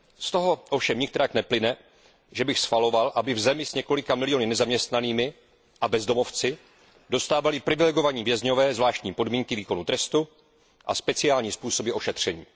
Z toho ovšem nikterak neplyne, že bych schvaloval, aby v zemi s několika miliony nezaměstnaných a bezdomovců dostávali privilegovaní vězni zvláštní podmínky výkonu trestu a speciální způsoby ošetření.